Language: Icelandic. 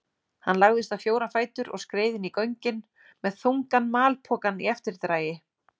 Hann lagðist á fjóra fætur og skreið inn í göngin með þungan malpokann í eftirdragi.